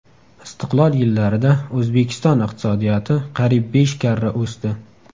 Istiqlol yillarida O‘zbekiston iqtisodiyoti qariyb besh karra o‘sdi.